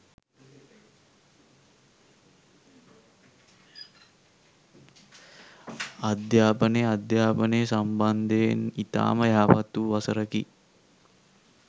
අධ්‍යාපනය අධ්‍යාපනය සම්බන්ධයෙන් ඉතාම යහපත් වූ වසරකි